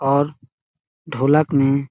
और ढोलक में--